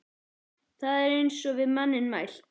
Það er eins og við manninn mælt.